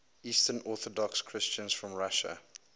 eastern orthodox christians from russia